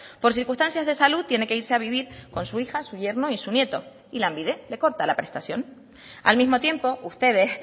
por circunstancias de salud tiene que irse a vivir con su hija su yerno y su nieto y lanbide le corta la prestación al mismo tiempo ustedes